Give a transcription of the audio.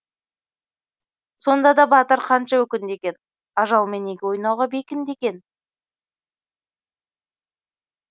сонда да батыр қанша өкінді екен ажалмен неге ойнауға бекінді екен